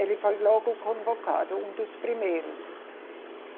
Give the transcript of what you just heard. Ele foi logo convocado, um dos primeiros.